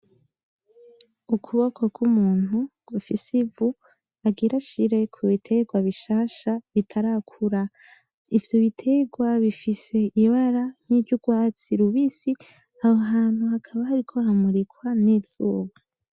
Ukuboko k'umuntu gufise ivu, agira ashire kubiterwa bishasha bitarakura. Ivyo biterwa bifise ibara nk'iry'urwatsi rubisi. Aho hantu hakaba hariko hamurikwa n'izuba.